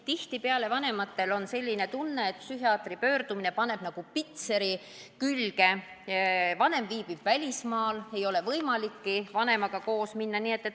Tihtipeale on vanematel ka tunne, et psühhiaatri poole pöördumine paneb nagu pitseri külge, või siis vanem viibib välismaal, nii et ei ole võimalikki koos temaga arsti juurde minna.